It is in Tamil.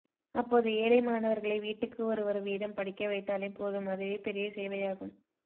அப்போது ஏழை மாணவர்களை வீட்டுக்கு ஒருவர் வீதம் படிக்க வைத்தாலே போதும் அதுவே பெரிய சேவையாகும்